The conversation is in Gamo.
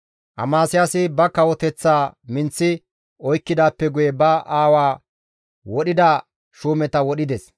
Amasiyaasi ba kawoteththaa minththi oykkidaappe guye ba aawaa wodhida shuumeta wodhides.